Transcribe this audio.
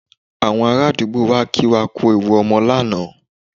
Àwọn ará àdúgbò wá kí wa kú ewu ọmọ lánàá